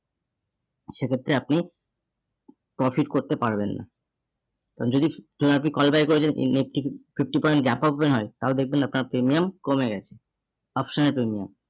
সেক্ষেত্রে আপনি profit করতে পারবেন না আর যদি আপনি call buy করেছেন nifty fifty point হয় তাও দেখবেন আপনার premium কমে গেছে, option এর premium